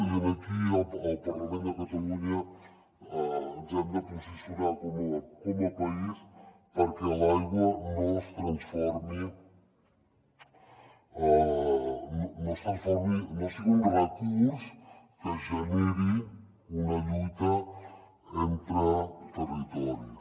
i aquí al parlament de catalunya ens hem de posicionar com a país perquè l’aigua no es transformi no sigui un recurs que generi una lluita entre territoris